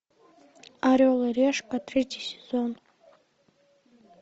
орел и решка третий сезон